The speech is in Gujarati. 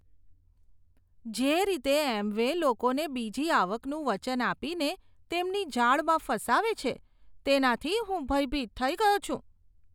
જે રીતે એમવે લોકોને બીજી આવકનું વચન આપીને તેમની જાળમાં ફસાવે છે, તેનાથી હું ભયભીત થઇ ગયો છું.